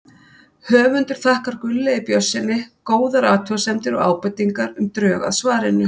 Höfundur þakkar Gunnlaugi Björnssyni góðar athugasemdir og ábendingar um drög að svarinu.